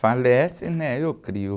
Falece, né? Eu crio.